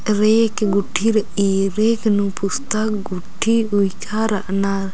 रेके गुट्ठी रइई रेके पुस्तक गुट्ठी ऊईका रअनर।